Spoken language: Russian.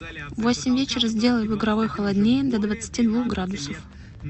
в восемь вечера сделай в игровой холоднее до двадцати двух градусов